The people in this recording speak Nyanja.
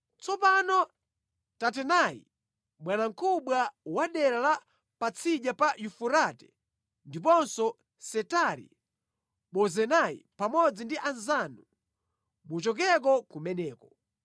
Tsopano Tatenai, bwanamkubwa wa dera la Patsidya pa Yufurate ndiponso Setari-Bozenai pamodzi ndi anzanu muchokeko kumeneko.